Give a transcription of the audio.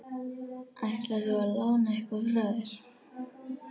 Ætlar þú að lána eitthvað frá þér?